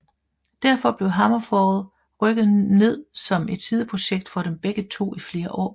Derfor blev HammerFall rykket ned som et sideprojekt for dem begge to i flere år